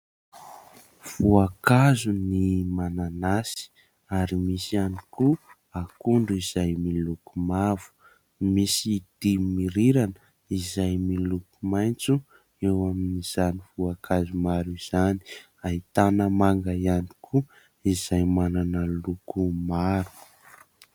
Voankazo ny mananasy ary misy ihany koa akondro izay miloko mavo, misy dimy rirana izay miloko maitso, eo amin'izany voankazo maro izany ahitana manga ihany koa izay manana loko maro.